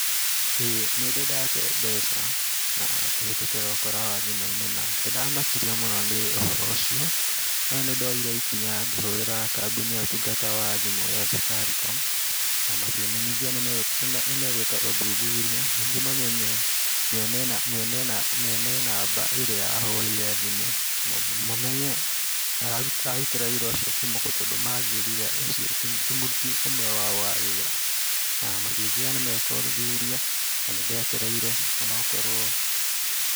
ĩĩ nĩndĩ tate mbeca na kũhĩtũkĩra ũkora wa thimũ-inĩ na nĩndamakirio mũno nĩ ũhoro ũcio. No nĩndoire ikinya ngĩhũrĩra kambuni ya ũtungata wa thimũ ya Safaricom na makĩmenyithia nĩ megwĩka ũthuthuria nĩguo mamenye mwene na mwene na mwene namba ĩrĩa ya hũrĩire thimũ, mamenye ararutĩra wĩra ũcio kuuma kũ, tondũ manjĩrire ũcio ti mũruti ũmwe wao wa wĩra na makĩnjĩra nĩmeka ũthuthuria na nĩ ndetereire ona okorwo...